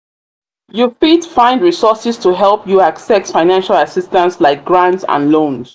you fit find resources to help you access financial assistance like grant and loans.